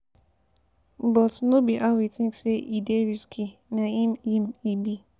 But no be how we think say e dey risky na im e be.